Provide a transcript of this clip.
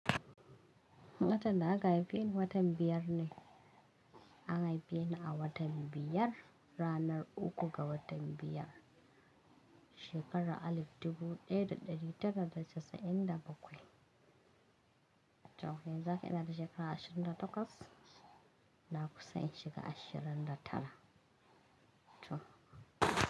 Watan da aka haife ni watan biyar ne. An haife ni a watan biyar, ranar uku ga watan biyar, shekara alif dubu ɗaya da ɗari tara da casa'in da bakwai. To yanzu haka ina da shekara ashirin da takwas, na kusa in shiga ashirin da tara. To.